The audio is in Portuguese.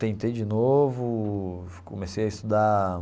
Tentei de novo, comecei a estudar...